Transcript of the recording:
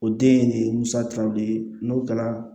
O den in de ye musakaw de ye n'o kɛra